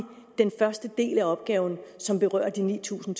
den første del af opgaven som berører de ni tusind